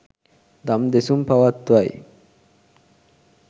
දම් දෙසුම් පවත්වයි.